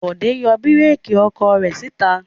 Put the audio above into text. Bọ̀dé yọ búrékì ọkọ̀ rẹ̀ síta.